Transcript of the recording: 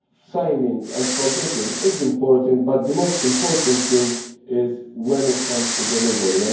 signing and committing is important, but the most important thing is when it comes to delivery.